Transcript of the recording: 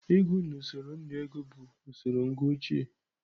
Ịgụ n'usoro nnu ego bụ usoro ngụ ochie.